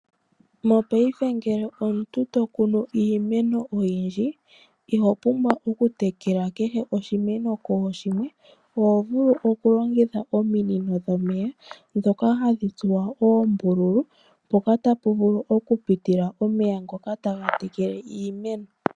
Mopaife ngele omuntu to kunu iimeno oyindji, iho pumbwa okutekela kehe oshimeno kooshimwe. Oho vulu okulongitha ominino dhomeya ndhoka hadhi tsuwa oombululu, mpoka tapu vulu okupitila omeya ngoka taga tekele iimeno.